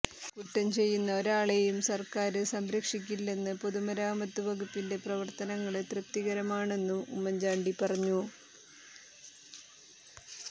കുറ്റംചെയ്യുന്ന ഒരാളെയും സര്ക്കാര് സംരക്ഷിക്കില്ലെന്നും പൊതുമരാമത്ത് വകുപ്പിന്റെ പ്രവര്ത്തനങ്ങള് തൃപ്തികരമാണെന്നും ഉമ്മന്ചാണ്ടി പറഞ്ഞു